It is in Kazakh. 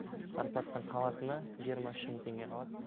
зарплатадан қалатыны жиырма үш мың теңге қалады